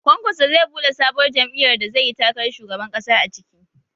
Kwankwaso zai buɗe sabuwar jam'iyyar da zai yi takarar shugaban ƙasa a ciki